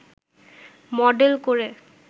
model করে